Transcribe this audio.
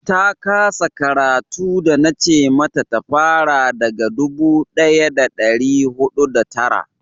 ta kasa karatu da na ce mata fara daga dubu daya da dari hudu da tara